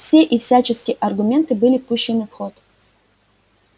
все и всячески аргументы были пущены в ход